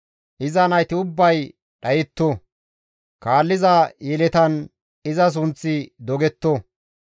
Iza nayti ubbay dhayetto; kaalliza yeletan iza sunththi dogetto.